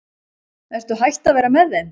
Ertu hætt að vera með þeim?